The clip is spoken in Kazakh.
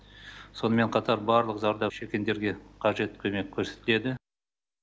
сонымен қатар барлық зардап шеккендерге қажет көмек көрсетіледі